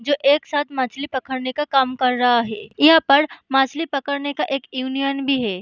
जो एक साथ मछली पकड़ने का काम कर रहा है यहाँ पर मछली पकड़ने का एक यूनियन भी है।